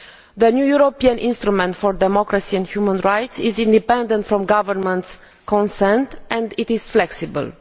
The new European instrument for democracy and human rights is independent of governments' consent and it is flexible.